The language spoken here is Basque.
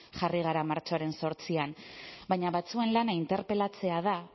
jarri gara martxoaren zortzian baina batzuen lana interpelatzea da